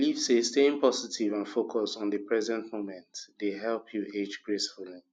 i dey believe say staying positive and focused on di present moment dey help you age gracefully